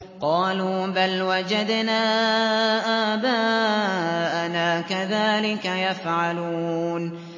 قَالُوا بَلْ وَجَدْنَا آبَاءَنَا كَذَٰلِكَ يَفْعَلُونَ